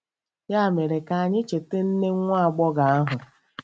Ya mere, ka anyị cheta nne nwa agbọghọ ahụ.